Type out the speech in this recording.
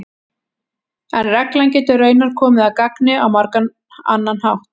en reglan getur raunar komið að gagni á margan annan hátt